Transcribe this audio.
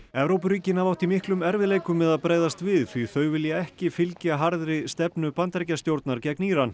Evrópuríkin hafa átt í miklum erfiðleikum með að bregðast við því þau vilja ekki fylgja harðri stefnu Bandaríkjastjórnar gegn Íran